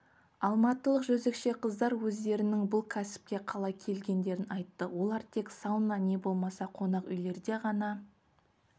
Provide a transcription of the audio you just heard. алматылық жезөкше қыздар өздерінің бұл кәсіпке қалай келгендерін айтты олар тек сауна не болмаса қонақүйлерде ғана